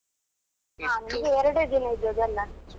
ಹಾ ನಿಮಗೆ ಎರಡೇ ದಿನ ಇದ್ದದಲ್ಲ?